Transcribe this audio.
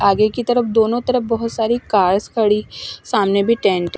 आगे की तरफ दोनों तरफ बोहोत सारी कार्स खड़ी सामने भी टेंट --